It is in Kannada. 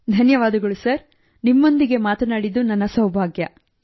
ಧನ್ಯವಾದಗಳು ಸರ್ ನಿಮ್ಮೊಂದಿಗೆ ಮಾತನಾಡಿದ್ದು ನನ್ನ ಸೌಭಾಗ್ಯ